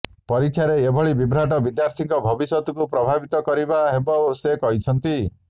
ପରୀକ୍ଷାରେ ଏଭଳି ବିଭ୍ରାଟ ବିଦ୍ୟାର୍ଥୀଙ୍କ ଭବିଷ୍ୟତକୁ ପ୍ରଭାବିତ କରିବା ହେବ ସେ କହିଛନ୍ତି